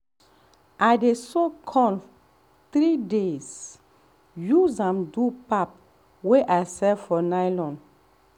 i dey soak corn 3 days use am do pap wey i sell for nylon.